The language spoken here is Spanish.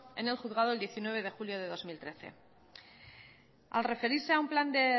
en el juzgado el diecinueve de julio del dos mil trece al referirse a un plan de